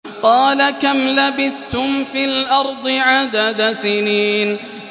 قَالَ كَمْ لَبِثْتُمْ فِي الْأَرْضِ عَدَدَ سِنِينَ